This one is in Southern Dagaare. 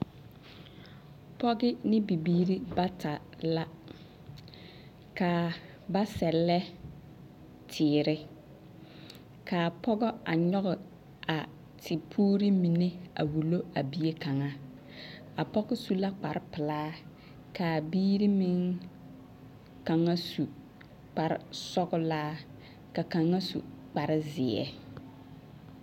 Pɔge ne bibiiri bata la. K'a ba sɛllɛ teere, k'a pɔgɔ a nyɔge a tepuuri mine a wulo a bie kaŋa. A pɔge su la kparpelaa, k'a biiri meŋ kaŋa su kparsɔgePɔɔlaa, ka kaŋa su kparzeɛ